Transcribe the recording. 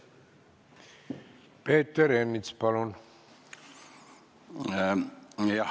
Peeter Ernits, palun!